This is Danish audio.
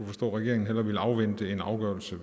forstå at regeringen hellere ville afvente en afgørelse